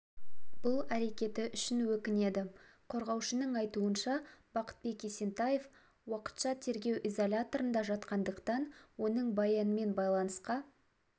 бұл әрекеті үшін өкінеді қорғаушының айтуынша бақытбек есентаев уақытша тергеу изоляторында жатқандықтан оның баянмен байланысқа